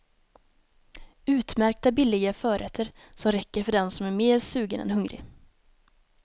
Utmärkta billiga förrätter som räcker för den som är mer sugen än hungrig.